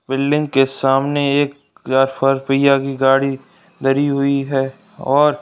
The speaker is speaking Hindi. बिल्डिंग के सामने एक गाड़ी धरी हुई है और --